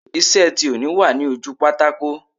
Iṣẹ́ tí òní wà ní ojú pátákò